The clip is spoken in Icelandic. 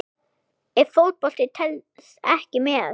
Ef Fótbolti telst ekki með?